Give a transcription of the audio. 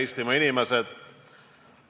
Head Eestimaa inimesed!